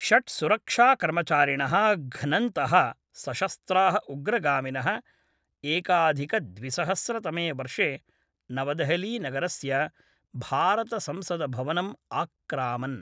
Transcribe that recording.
षट् सुरक्षाकर्मचारिणः घ्नन्तः सशस्त्राः उग्रगामिनः एकाधिकद्विसहस्रतमे वर्षे नवदेहलीनगरस्य भारतसंसदभवनम् आक्रामन्।